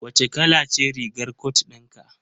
Wace kala ce rigar cot din ka?